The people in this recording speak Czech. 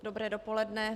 Dobré dopoledne.